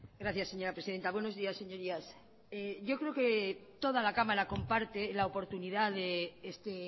gracias señora presidenta buenos días señorías yo creo que toda la cámara comparte la oportunidad de este